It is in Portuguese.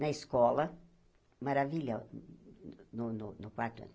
na escola, maravilho, no no quarto ano.